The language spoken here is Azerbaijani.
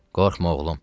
Qorxma, oğlum.